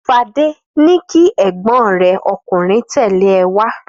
Fadé ní kí egbin rẹ ọkùnrin tẹ̀lé ẹ wá!